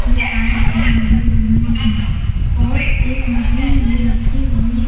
के पाइप भी लगे हुए हैं और एक मशीन भी रखी हुई --